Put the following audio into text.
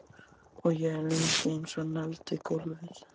Og ég er lengi einsog negld við gólfið.